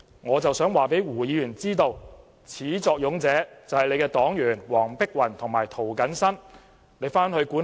我想告訴胡議員，始作俑者是他的黨員黃碧雲議員和涂謹申議員。